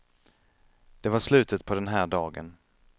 Det var slutet på den här dagen.